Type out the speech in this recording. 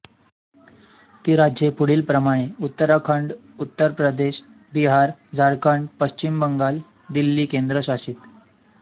ती राज्ये पुढीलप्रमाणे उत्तराखंड उत्तर प्रदेश बिहार झारखंड पश्चिम बंगाल दिल्ली केंद्रशासित